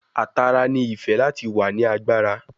A tara ni ife lati wa ni agbara